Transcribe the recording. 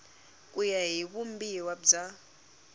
ku ya hi vumbiwa bya